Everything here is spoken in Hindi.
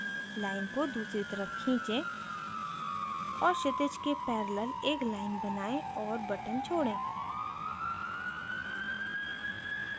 line को दूसरी तरफ खींचे और क्षितिज के पैरेलल एक line बनायें और button छोड़ें